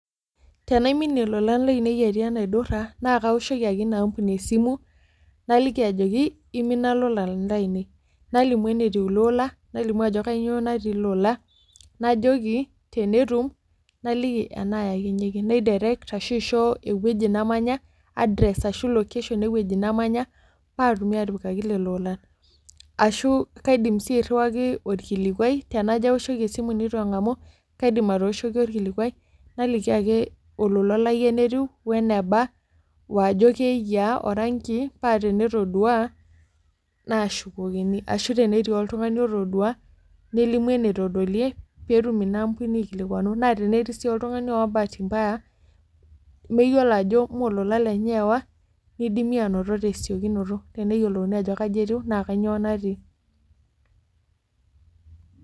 Tenaiminie lolan lainei atii enaidurra, naa kawoshoki ake ina ampuni esimu, naliki ajoki, imina lolan lainei. Nalimu enetiu ilo ola, nalimu ajo kanyioo natii ilo ola, najoki tenetum, naliki enayakinyeki. Nai direct ashu aisho ewueji namanya, address ashu location ewueji namanya, patumi atipika lelo olan. Ashu kaidim si airriwaki orkilikwai, tenajo awoshoki esimu nitu eng'amu, kaidim atooshoki orkilikwai, naliki ake olola lai enetiu, weneba, wajo keyiaa, oranki, patenetodua, naashukokini, ashu tenetii oltung'ani otodua, nelimu ene todolie, petum inaambuni aikilikwanu. Na tenetii si oltung'ani oowa bahati mbaya, meyiolo ajo molola lenye eewa, nidimi anoto tesiokinoto. Teneyiolouni ajo kaja etiu, naa kanyioo natii.